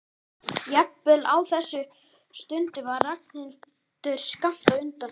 Jafnvel á þessari stundu var Ragnhildur skammt undan.